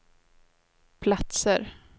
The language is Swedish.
platser